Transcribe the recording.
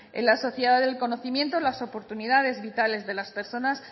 en la sociedad del conocimiento las oportunidades vitales de las personas